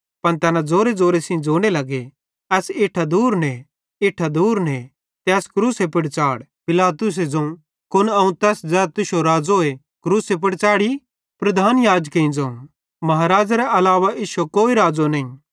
पन तैना ज़ोरेज़ोरे सेइं ज़ोने लगे एस इट्ठां दूर ने इट्ठां दूर ने ते एस क्रूसे पुड़ च़ाढ़ पिलातुसे ज़ोवं कुन अवं तैस ज़ै तुश्शो राज़ो क्रूसे पुड़ च़ैढ़ी प्रधान याजकेईं ज़ोवं महाराज़ेरे अलावा इश्शो कोई राज़ो नईं